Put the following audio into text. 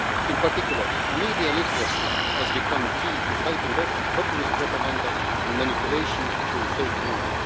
skills. In particular, media literacy has become key to fighting off populist propaganda and manipulation through